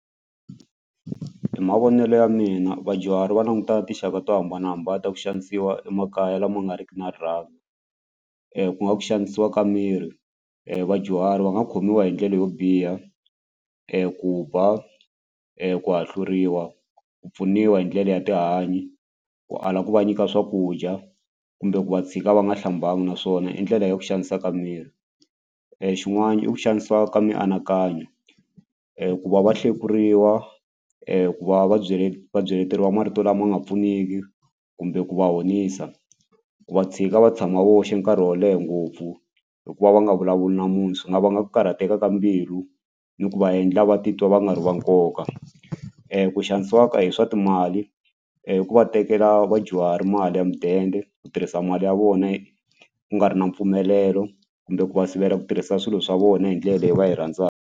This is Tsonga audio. Hi mavonelo ya mina vadyuhari va languta tinxaka to hambanahambana ta ku xanisiwa emakaya lama nga riki na rirhandzu ku nga ku xanisiwa ka miri vadyuhari va nga khomiwa hi ndlela yo biha ku ba ku hahluriwa ku pfuniwa hi ndlela ya tihanyi ku ala ku va nyika swakudya kumbe ku va tshika va nga hlambanga naswona i ndlela ya ku xaniseka miri xin'wani i ku xanisiwa ka mianakanyo ku va va hlekuriwa ku va va byele va byeleteriwa marito lama nga pfuniki kumbe ku va honisa ku va tshika va tshama voxe nkarhi wo leha ngopfu hikuva va nga vulavuli na munhu swi nga vanga ku karhateka ka mbilu ni ku va endla va titwa va nga ri va nkoka ku xanisiwa ka hi swa timali ku va tekela vadyuhari mali ya mudende ku tirhisa mali ya vona ku nga ri na mpfumelelo kumbe ku va sivela ku tirhisa swilo swa vona hi ndlela leyi va yi .